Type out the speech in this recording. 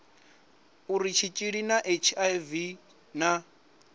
uri tshitshili tsha hiv na